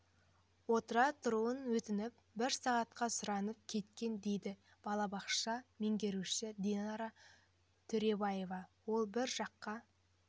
отыра тұруын өтініп бір сағатқа сұранып кеткен дейді балабақша меңгерушісі динара төребаева ол бір жаққа